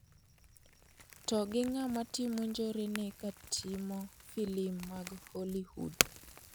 To gi ng'ama timo njorene ka timo filim mag Hollywood.